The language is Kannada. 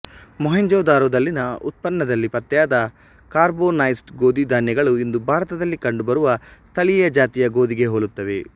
ಮೊಹೆಂಜೊದಾರೊದಲ್ಲಿನ ಉತ್ಖನ್ನದಲ್ಲಿ ಪತ್ತೆಯಾದ ಕಾರ್ಬೊನೈಸ್ಡ್ ಗೋಧಿ ಧಾನ್ಯಗಳು ಇಂದು ಭಾರತದಲ್ಲಿ ಕಂಡುಬರುವ ಸ್ಥಳೀಯ ಜಾತಿಯ ಗೋಧಿಗೆ ಹೋಲುತ್ತವೆ